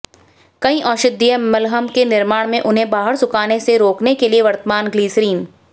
कई औषधीय मलहम के निर्माण में उन्हें बाहर सुखाने से रोकने के लिए वर्तमान ग्लिसरीन